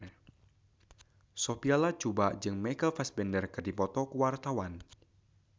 Sophia Latjuba jeung Michael Fassbender keur dipoto ku wartawan